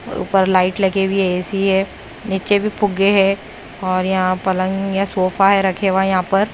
ऊपर लाइट लगे हुई ए_सी है नीचे भी फुग्गे है और यहां पलंग या सोफा है रखे हुआ यहां पर।